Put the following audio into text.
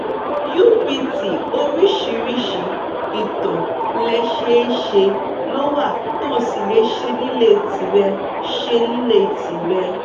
upt oríṣiríṣi ìtọ̀ lẹ seé se ló wà tó o sì lè ṣe nílé tìrẹ ṣe nílé tìrẹ